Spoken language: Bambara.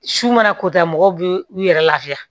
Su mana kota mɔgɔw bɛ u yɛrɛ lafiya